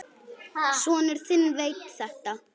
Sonur þinn veit þetta.